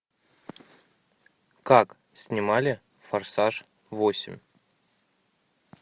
как снимали форсаж восемь